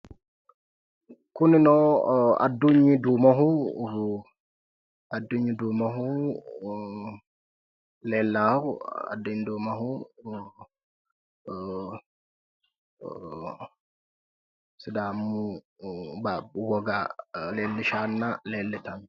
Kunino Addunyi duumoho leellawo Addunyi duumoho sidaamu baabbu woga leellishshanna leellitanno